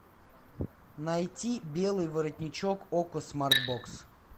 найти белый воротничок окко смарт бокс